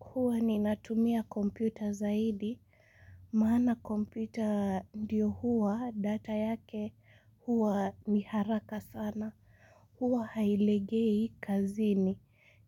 Huwa ninatumia kompyuta zaidi. Maana kompyuta ndiyo huwa, data yake huwa ni haraka sana. Huwa hailegei kazini.